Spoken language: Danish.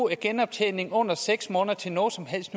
en genoptjening under seks måneder til noget som helst